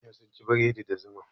Manya sun ci bredi da zuma.